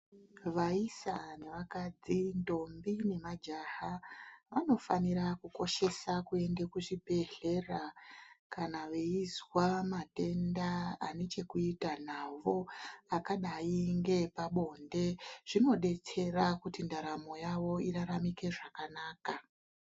Vaisa nevakadzi, ndombi nemajaha vanofanira kukoshesa kuende kuzvibhedhlera kana veizwa matenda ane chekuita navo akadai ngeepabonde. Zvinodetsera kuti ndaramo yavo iraramike zvakanaka.